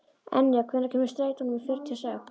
Enja, hvenær kemur strætó númer fjörutíu og sex?